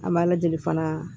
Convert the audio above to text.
An b'a lajɛ fana